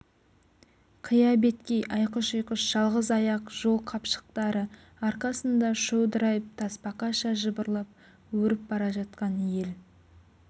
қия беткей айқыш-ұйқыш жалғыз аяқ жол қапшықтары арқасында шодырайып тасбақаша жыбырлап өріп бара жатқан ел